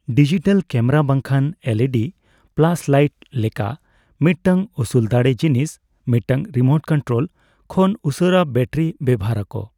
Digital camera ᱵᱟᱝᱠᱷᱟᱱ LED flashlight ᱞᱮᱠᱟ ᱢᱤᱫᱴᱟᱝ ᱩᱥᱩᱞ ᱫᱟᱲᱮ ᱡᱤᱱᱤᱥ ᱢᱤᱫᱴᱟᱝ ᱨᱤᱢᱳᱴ ᱠᱚᱱᱮᱠᱴᱨᱳᱞ ᱠᱷᱚᱱ ᱩᱥᱩᱨᱟ ᱵᱟᱴᱟᱨᱤ ᱵᱮᱣᱦᱟᱨ ᱟᱠᱚ ᱾